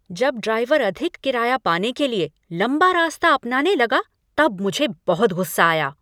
जब ड्राइवर अधिक किराया पाने के लिए लंबा रास्ता अपनाने लगा तब मुझे बहुत गुस्सा आया।